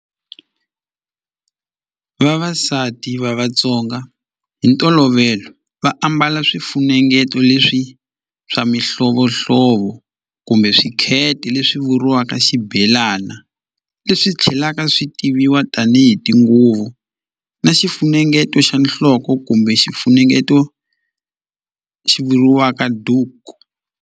Vavasati va Vatsonga hi ntolovelo va ambala swifunengeto leswi swa mihlovohlovo kumbe swikhete leswi vuriwaka waka xibelana leswi tlhelaka swi tiviwa tanihi tinguvu na xifunengeto xa nhloko kumbe xifunengeto xi vuriwaka duku.